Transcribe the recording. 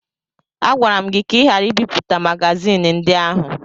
Agwara m gị ka ị ghara ibipụta magazin ndị ahụ!